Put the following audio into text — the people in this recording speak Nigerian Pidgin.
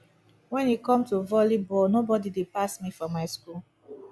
wen e come to volley ball nobody dey pass me for my school